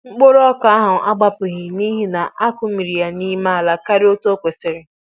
Mkpụrụ ọka ahụ agbapughị nihi na-akụmiri ya nime ala karịa otú o kwesịrị